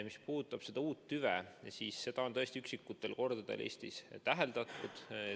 Mis puudutab uut tüve, siis seda on tõesti üksikutel kordadel Eestis täheldatud.